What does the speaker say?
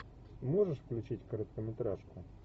можешь включить короткометражку